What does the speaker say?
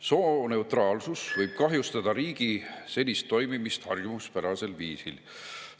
Sooneutraalsus võib kahjustada riigi senist harjumuspärasel viisil toimimist.